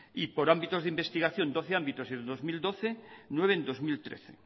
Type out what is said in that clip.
y por ámbitos de investigación doce ámbitos en el dos mil doce y nueve en bi mila hamairu